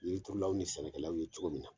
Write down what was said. Yiri turulaw ni sɛnɛkɛlaw ye cogo min na